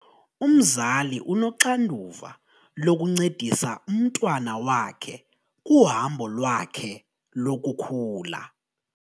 Umzali unoxanduva lokuncedisa umntwana wakhe kuhambo lwakhe lokukhula.